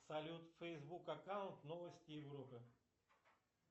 салют фейсбук аккаунт новости европы